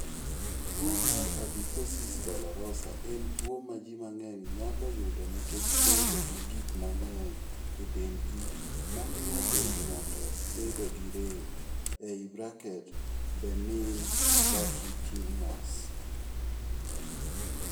Tuwo mar adiposis dolorosa en tuwo ma ji mang'eny nyalo yudo nikech bedo gi gik mang'eny e dendgi ma miyo dend ng'ato bedo gi rem (benign fatty tumors).